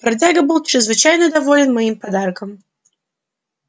бродяга был чрезвычайно доволен моим подарком